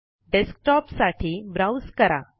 desktop साठी browse करा